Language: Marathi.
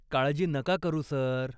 काळजी नका करू, सर.